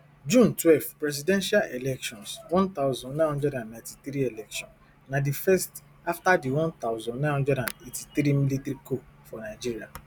june twelve presidential elections one thousand, nine hundred and ninety-three election na di first afta di one thousand, nine hundred and eighty-three military coup for nigeria